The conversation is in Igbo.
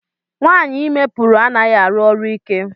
Nwaanyị ime pụrụ anaghị arụ ọrụ ike.